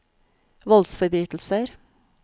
voldsforbrytelser